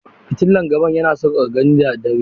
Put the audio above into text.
Fitilan gaban yana sauƙaƙa gani da dare.